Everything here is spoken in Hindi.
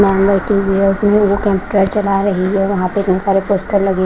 वहां पर बहुत सारे पोस्टर लगे हुए--